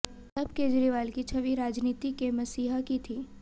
तब केजरीवाल की छवि राजनीति के मसीहा की थी